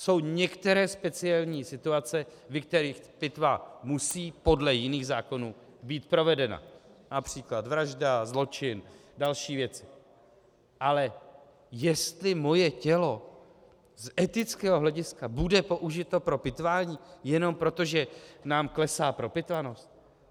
Jsou některé speciální situace, ve kterých pitva musí podle jiných zákonů být provedena, například vražda, zločin a další věci, ale jestli moje tělo z etického hlediska bude použito pro pitvání jenom proto, že nám klesá propitvanost?